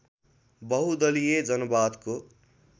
बहुदलीय जनवादको